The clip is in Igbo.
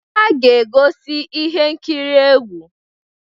Ha ga-egosi ihe nkiri egwu.